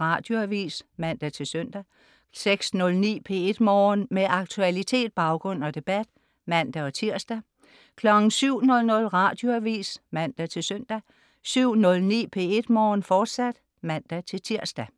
Radioavis (man-søn) 06.09 P1 Morgen. Med aktualitet, baggrund og debat (man-tirs) 07.00 Radioavis (man-søn) 07.09 P1 Morgen, fortsat (man-tirs)